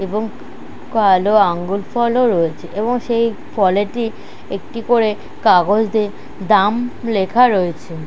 এবং কালো আঙ্গুর ফল ও রয়েছে এবং সেই ফলেটি একটি করে কাগজ দিয়ে দাম লেখা রয়েছে। ।